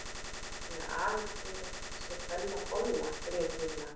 Af því að afi segir að hún sé Bella bolla grét Lilla.